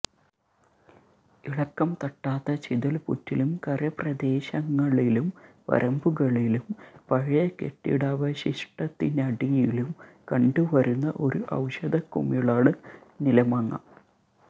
ഇളക്കം തട്ടാത്ത ചിതൽപുറ്റിലും കരപ്രദേശങ്ങളിലും വരമ്പുകളിലും പഴയകെട്ടിടാവശിഷ്ടത്തിനടിയിലും കണ്ടുവരുന്ന ഒരു ഔഷധകുമിളാണ് നിലമാങ്ങ